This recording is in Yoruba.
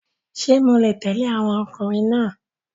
Ṣé mo lè tẹ̀lé àwọn ọkùnrin náà?